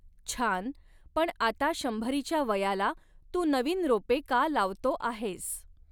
छान, पण आता शंभरीच्या वयाला तू नवीन रोपे का लावतो आहेस